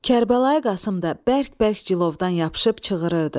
Kərbəlayı Qasım da bərk-bərk cilovdan yapışıb çığırdı.